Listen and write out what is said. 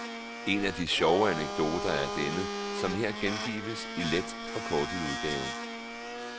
En af de sjove anekdoter er denne, som her gengives i let forkortet udgave.